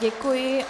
Děkuji.